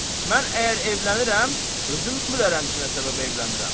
Mən əgər evlənirəm, özüm bilərəm ki, nə səbəbə evlənirəm.